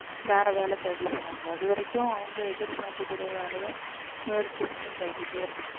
வேற வேலை தேடி போவாங்க அது வரைக்கும் அவங்க எதிர்பார்க்கக் கூடிய வேலையை முயற்சி பண்ணி தேடிட்டே இருப்பாங்க